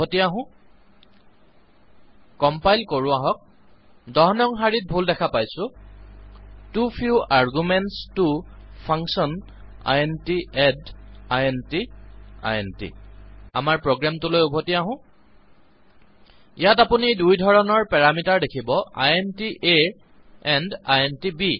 উভতি আহো কম্পাইল কৰো আহক ১০ নং শাৰীত ভুল দেখা পাইছো টো ফিউ আৰ্গুমেণ্টছ ত function int add int int আমাৰ প্ৰোগ্ৰামটোলৈ উভতি আহো ইয়াত আপুনি দুই ধৰণৰ পেৰামিটাৰ দেখিব ইণ্ট a এণ্ড ইণ্ট ব